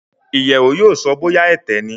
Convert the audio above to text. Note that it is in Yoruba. iyewo yóò so bóyá Ẹ̀tẹ ní